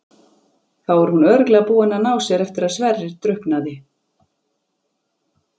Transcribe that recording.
Þá er hún örugglega búin að ná sér eftir að Sverrir drukknaði.